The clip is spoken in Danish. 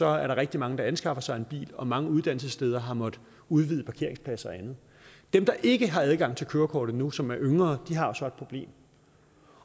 er der rigtig mange der anskaffer sig en bil og mange uddannelsessteder har måttet udvide parkeringspladser og andet dem der ikke har adgang til kørekort endnu og som er yngre har så et problem